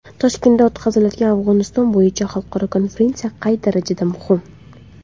Toshkentda o‘tkazilgan Afg‘oniston bo‘yicha xalqaro konferensiya qay darajada muhim?